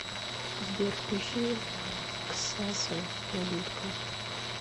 сбер включи ксаса малютка